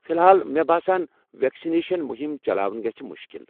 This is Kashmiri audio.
فی الحال، مےٚ باسان ویکسنیشن مُہم چلاوٕنۍ گژھہِ مُشکل۔